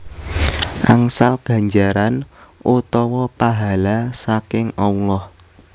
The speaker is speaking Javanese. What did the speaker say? Angsal ganjaran utawa pahala saking Allah